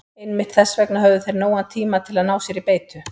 Einmitt þess vegna höfðu þeir nógan tíma til að ná sér í beitu.